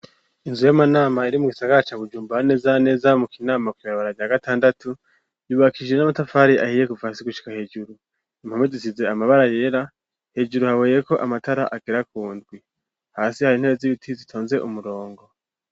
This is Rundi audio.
Inzu y'amanama iri mu gisagara ca Bujumbura ,neza neza mu kinama ,kw'ibabara rya gatandatu ,yubakije n'amatafari ahiye ,kuva hasi gushika hejuru, impome zisize amabara yera ,hejuru haboheyeko amatara agera kundwi ,hasi hari intebe z'ibiti zitonze umurongo.